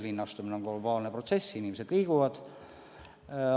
Linnastumine on globaalne protsess, inimesed liiguvad linnadesse.